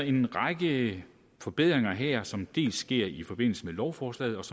en række forbedringer her som dels sker i forbindelse med lovforslaget